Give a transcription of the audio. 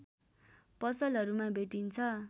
पसलहरूमा भेटिन्छ